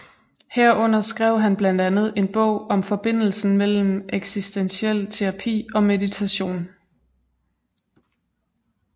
Herunder skrev han blandt andet en bog om forbindelsen mellem eksistentiel terapi og meditation